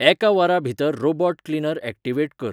एका वरां भितर रोबोट क्लिनर ऍक्टिवेट कर